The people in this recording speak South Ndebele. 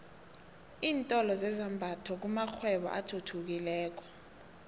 iintolo zezambatho kumakghwebo athuthukileko